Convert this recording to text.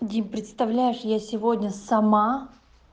дим представляешь я сегодня сама